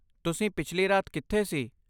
ਤੁਸੀਂ ਪਿਛਲੀ ਰਾਤ ਕਿੱਥੇ ਸੀ?